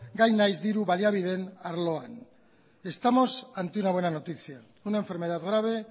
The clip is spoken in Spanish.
gai nahiz diru baliabideen arloan estamos ante una buena noticia una enfermedad grave